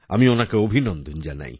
আমি ওনাকে অভিনন্দন জানাই